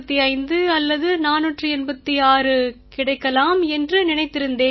485 அல்லது 486 கிடைக்கலாம் என்று நினைத்திருந்தேன்